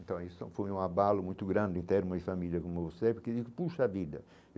Então, isso foi um abalo muito grande em termos de família como você, porque eu digo poxa vida.